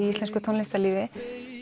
íslensku tónlistarlífi